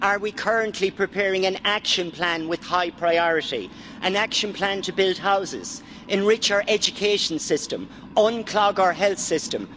Are we currently preparing an action plan with high priority, an action plan to build houses, enrich our education system and unclog our health system?